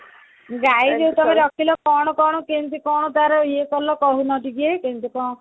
ଗାଈ ଗୋଟେ ତମର ରଖିଲ କଣ କଣ କେମିତି କଣ ତାର ଇଏ କଲ କହୁନ ଟିକେ ମେମିତେ କଣ